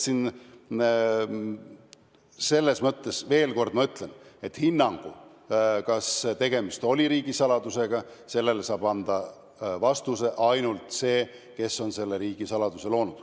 Nii et veel kord ütlen: hinnangu, kas tegemist oli riigisaladusega, saab anda ainult see, kes on selle riigisaladuse loonud.